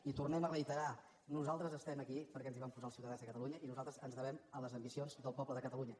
i ho tornem a reiterar nosaltres estem aquí perquè ens hi van posar els ciutadans de catalunya i nosaltres ens devem a les ambicions del poble de catalunya